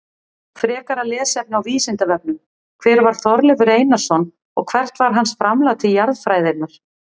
Frekara lesefni á Vísindavefnum: Hver var Þorleifur Einarsson og hvert var hans framlag til jarðfræðinnar?